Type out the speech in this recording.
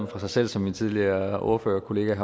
fra sig selv som min tidligere ordførerkollega